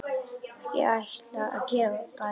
Ég ætla að gefa barnið.